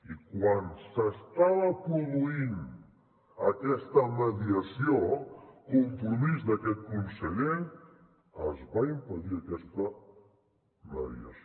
i quan s’estava produint aquesta mediació compromís d’aquest conseller es va impedir aquesta mediació